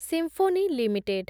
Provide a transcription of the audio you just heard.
symphony limited